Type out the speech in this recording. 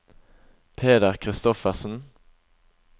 Peder Kristoffersen